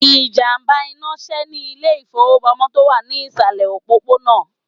Ìjàmbá iná sè ní Ilé ìfowópamósí tó wà ní ìsàlẹ̀ òpópónà